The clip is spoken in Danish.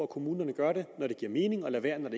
kommunerne gør det når det giver mening og lader være med at